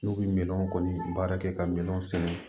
N'u bɛ minɛnw kɔni baara kɛ ka minɛn sɛnɛ